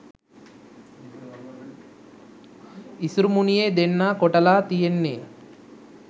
ඉසුරුමුණියෙ දෙන්නා කොටලා තියෙන්නේ